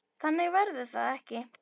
Þannig verður það ekki.